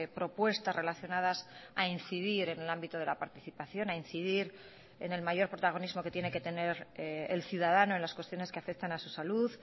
propuestas relacionadas a incidir en el ámbito de la participación a incidir en el mayor protagonismo que tiene que tener el ciudadano en las cuestiones que afectan a su salud